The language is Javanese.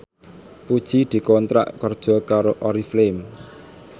Puji dikontrak kerja karo Oriflame